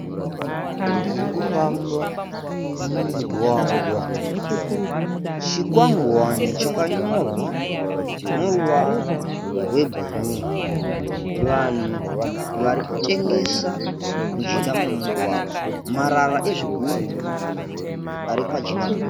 Motokari dziri kufamba mumugwagwa. Chikwangwani chakanyorwa neruvara rwebhuruu. Vanhu vari kutengesa mujinga memugwagwa. Marara ezvigumbu ari pajinga pemugwagwa.